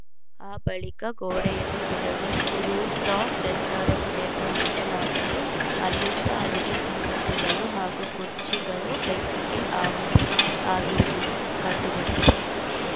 ಆ ಬಳಿಕ ಗೋಡೆಯನ್ನು ಕೆಡವಿ ರೂಫ್‌ಟಾಪ್‌ ರೆಸ್ಟೋರೆಮಟ್‌ ನಿರ್ಮಿಸಲಾಗಿತ್ತು ಅಲ್ಲಿದ್ದ ಅಡುಗೆ ಸಾಮಗ್ರಿಗಳು ಹಾಗೂ ಕುರ್ಚಿಗಳು ಬೆಂಕಿಗೆ ಆಹುತಿ ಆಗಿರುವುದು ಕಂಡು ಬಂದಿದೆ